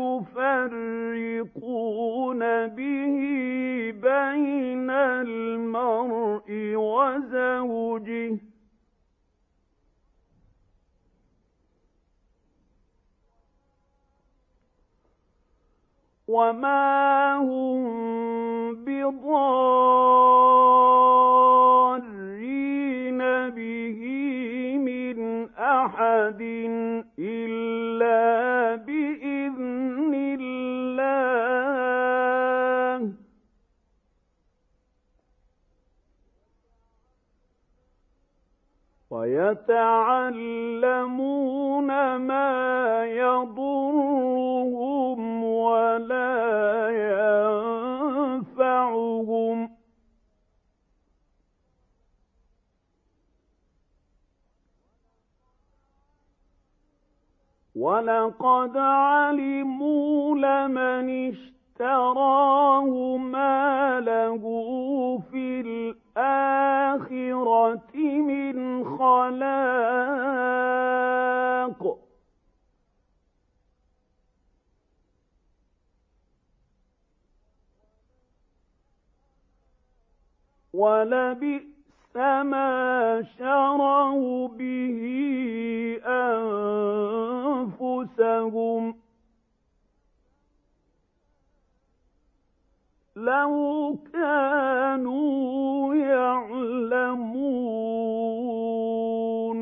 يُفَرِّقُونَ بِهِ بَيْنَ الْمَرْءِ وَزَوْجِهِ ۚ وَمَا هُم بِضَارِّينَ بِهِ مِنْ أَحَدٍ إِلَّا بِإِذْنِ اللَّهِ ۚ وَيَتَعَلَّمُونَ مَا يَضُرُّهُمْ وَلَا يَنفَعُهُمْ ۚ وَلَقَدْ عَلِمُوا لَمَنِ اشْتَرَاهُ مَا لَهُ فِي الْآخِرَةِ مِنْ خَلَاقٍ ۚ وَلَبِئْسَ مَا شَرَوْا بِهِ أَنفُسَهُمْ ۚ لَوْ كَانُوا يَعْلَمُونَ